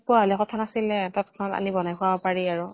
তিনিআলিত পোৱা হলে কথা নাছিলে, তৎক্ষনাত আনি বনাই খোৱাব পাৰি আৰু।